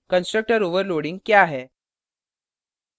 constructor overloading constructor overloading क्या है